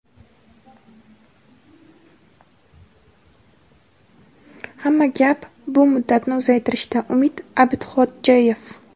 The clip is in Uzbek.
hamma gap bu muddatni uzaytirishda – Umid Abidxodjayev.